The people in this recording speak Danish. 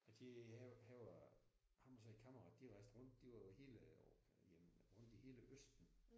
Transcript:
Jeg kendte han han var. Ham og så en kammerat de rejse rundt de var i hele jamen rundt i hele østen